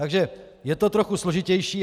Takže je to trochu složitější.